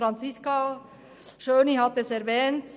Franziska Schöni-Affolter hat es erwähnt: